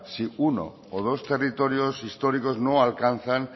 si uno o dos territorios históricos no alcanzan